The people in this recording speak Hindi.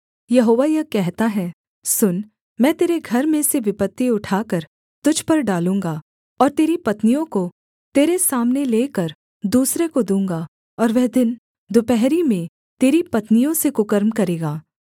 यहोवा यह कहता है सुन मैं तेरे घर में से विपत्ति उठाकर तुझ पर डालूँगा और तेरी पत्नियों को तेरे सामने लेकर दूसरे को दूँगा और वह दिन दुपहरी में तेरी पत्नियों से कुकर्म करेगा